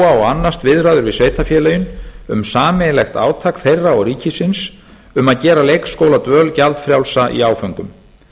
og annast viðræður við sveitarfélögin um sameiginlegt átak þeirra og ríkisins um að gera leikskóladvöl gjaldfrjálsa í áföngum